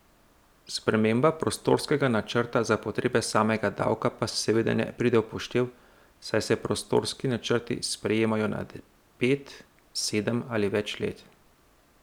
Sprememba prostorskega načrta za potrebe samega davka pa seveda ne pride v poštev, saj se prostorski načrti sprejemajo na pet, sedem ali več let.